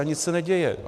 A nic se neděje.